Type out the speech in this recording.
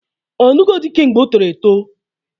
Ọnụgo dị kemgbe o toro etoo?